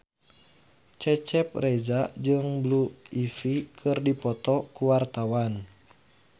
Cecep Reza jeung Blue Ivy keur dipoto ku wartawan